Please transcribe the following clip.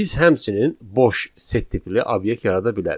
Biz həmçinin boş set tipli obyekt yarada bilərik.